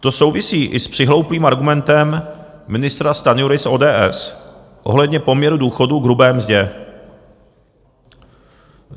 To souvisí i s přihlouplým argumentem ministra Stanjury z ODS ohledně poměru důchodů k hrubé mzdě.